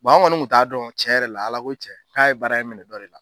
an kɔni kun t'a dɔn cɛn yɛrɛ la Ala ko cɛn k'a ye baara in minɛ dɔ de la.